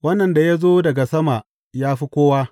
Wannan da ya zo daga sama ya fi kowa.